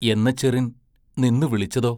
എന്നച്ചെറിൻ നിന്നു വിളിച്ചതോ?